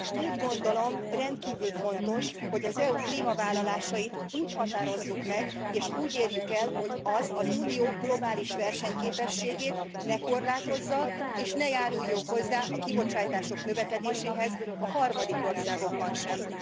Úgy gondolom, rendkívül fontos, hogy az EU klímavállalásait úgy határozzuk meg és úgy érjük el, hogy ez az Unió globális versenyképességét ne korlátozza, és ne járuljon hozzá a kibocsátások növekedéséhez a harmadik országokban sem.